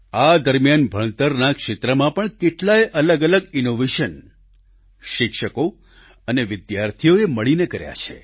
આ દરમિયાન ભણતરના ક્ષેત્રમાં પણ કેટલાય અલગઅલગ ઈનોવેશન શિક્ષકો અને વિદ્યાર્થીઓએ મળીને કર્યા છે